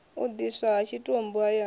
u ḓidiswa ha tshitumbu hayani